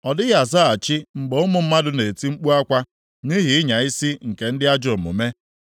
Ọ dịghị azaghachi mgbe ụmụ mmadụ na-eti mkpu akwa, nʼihi ịnya isi nke ndị ajọ omume.